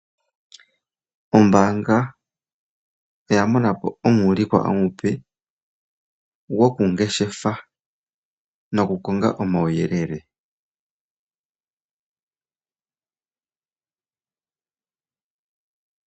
Ombaanga oya mona po omuulikwa omupe gokungeshefa nokukonga omauyelele .